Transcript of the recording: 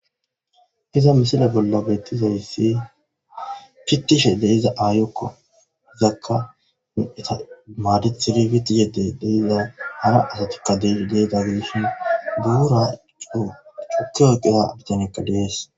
iza misila bolla bettizayssi fittishe deiza aayokko zakka eta maadithidibit yedde deiza hara asatikka deeza geshin duura coo cukio qeya bitanekka dees